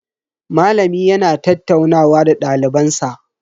Malami yana tattaunawa da daliban sa.